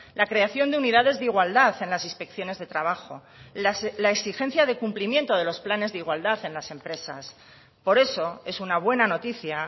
la creación de unidades de igualdad en las inspecciones de trabajo la exigencia de cumplimiento de los planes de igualdad en las empresas por eso es una buena noticia